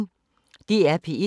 DR P1